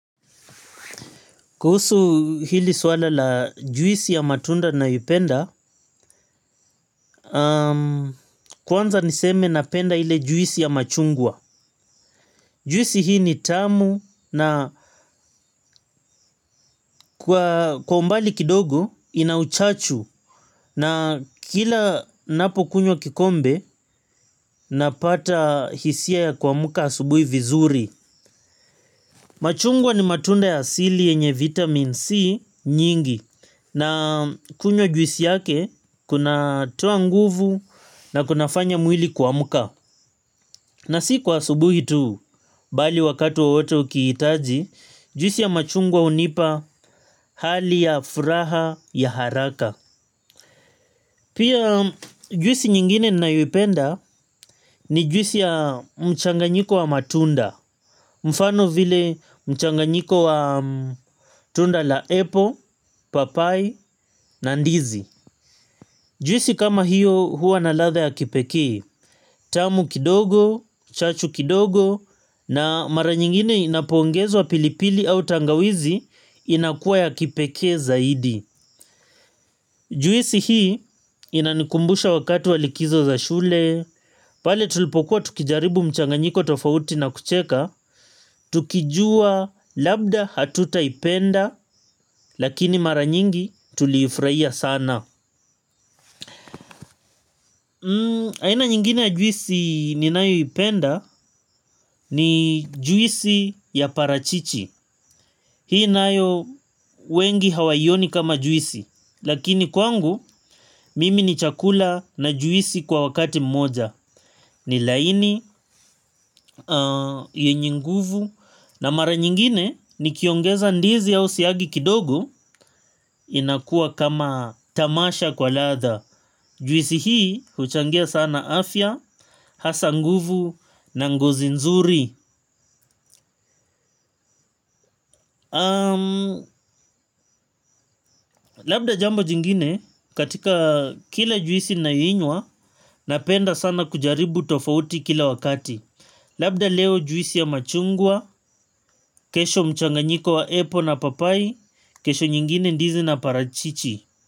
Kuhusu hili swala la juisi ya matunda nayoipenda, kwanza niseme napenda ile juisi ya machungwa. Juisi hii ni tamu na kwa umbali kidogo ina uchachu na kila napokunywa kikombe napata hisia ya kuamka asubuhi vizuri. Machungwa ni matunda ya asili yenye vitamin C nyingi na kunywa juisi yake kunatoa nguvu na kunafanya mwili kuamka. Na si kwa subuhi tu bali wakati wowote ukihitaji juisi ya machungwa hunipa hali ya furaha ya haraka. Pia juisi nyingine ninayoipenda ni juisi ya mchanganyiko wa matunda. Mfano vile mchanganyiko wa tunda la apple, papai na ndizi. Juisi kama hiyo hua na ladha ya kipekee. Tamu kidogo, chachu kidogo na mara nyingine inapoongezwa pilipili au tangawizi inakuwa ya kipekee zaidi. Juisi hii inanikumbusha wakati wa likizo za shule. Pale tulipokuwa tukijaribu mchanganyiko tofauti na kucheka tukijua labda hatutaipenda lakini mara nyingi tuliifurahia sana aina nyingine ya juisi ninayoipenda ni juisi ya parachichi hii nayo wengi hawaioni kama juisi lakini kwangu mimi ni chakula na juisi kwa wakati mmoja ni laini, yenye nguvu. Na mara nyingine nikiongeza ndizi au siagi kidogo inakua kama tamasha kwa ladha. Juisi hii huchangia sana afya, hasa nguvu na ngozi nzuri. Labda jambo jingine katika kila juisi nayoinywa napenda sana kujaribu tofauti kila wakati. Labda leo juisi ya machungwa, kesho mchanganyiko wa apple na papai, kesho nyingine ndizi na parachichi.